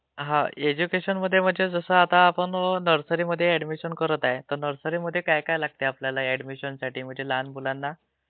हा..ऐज्युकेशनमध्ये म्हणजे जसं आता आपण नर्सरीमध्ये ऍडमिशन करत आहे, तर नर्सरीमध्ये काय काय लागते आपल्याला ऍडमिशनसाठी..म्हणजे लहान मुलांना